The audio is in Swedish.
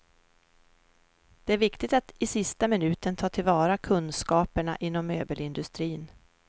Det är viktigt att i sista minuten ta till vara kunskaperna inom möbelindustrin.